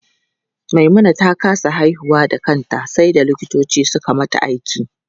Maimuna ta kasa haihuwa da kanta sai da likitoci suka mata aiki.